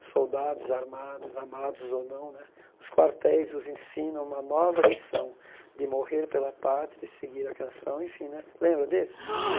os soldados armados, amados ou não né, os quartéis vos ensinam uma nova lição de morrer pela pátria e seguir a canção, enfim né, lembra desse?